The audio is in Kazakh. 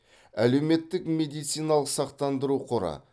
әлеуметтік медициналық сақтандыру қоры